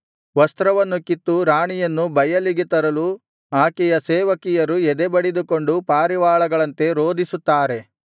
ವಸ್ತ್ರವನ್ನು ಕಿತ್ತು ರಾಣಿಯನ್ನು ಬಯಲಿಗೆ ತರಲು ಆಕೆಯ ಸೇವಕಿಯರು ಎದೆ ಬಡೆದುಕೊಂಡು ಪಾರಿವಾಳಗಳಂತೆ ರೋದಿಸುತ್ತಾರೆ